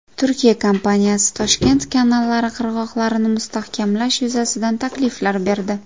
Turkiya kompaniyasi Toshkent kanallari qirg‘oqlarini mustahkamlash yuzasidan takliflar berdi.